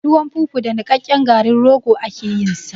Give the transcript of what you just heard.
Tuwon fufu da niƙaƙƙen garin rogo ake yin sa